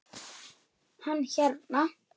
Hann hérna.